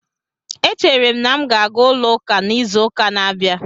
Echere m na m ga-aga ulo uka na izuuka na-abia